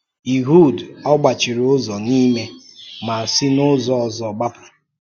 Ịhud ọ̀ gbàchìrì ụzọ n’ime, ma sị n’ụzọ ọzọ gbàpụ?